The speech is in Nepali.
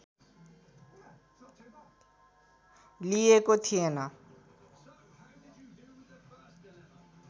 लिइएको थिएन